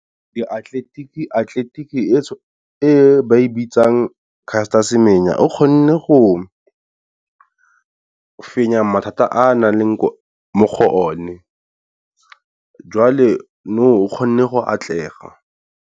Atleletiki e e ba e bitsang Castor Semenya, o kgonne go fenya mathata a nang a le mo go o ne, jwale nou o kgonne go atlega.